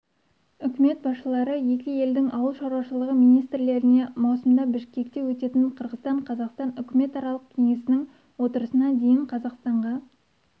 үкімет басшылары екі елдің ауыл шаруашылығы министрліктеріне маусымда бішкекте өтетін қырғызстан-қазақстан үкіметаралық кеңесінің отырысына дейін қазақстанға